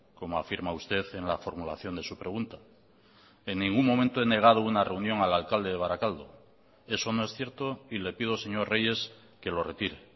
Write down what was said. como afirma usted en la formulación de su pregunta en ningún momento he negado una reunión al alcalde de barakaldo eso no es cierto y le pido señor reyes que lo retire